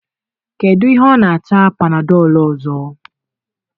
kedu ihe ọ na-ata panadol ọzọ?